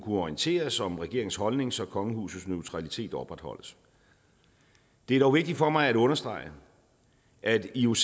orienteres om regeringens holdning så kongehusets neutralitet opretholdes det er dog vigtigt for mig at understrege at ioc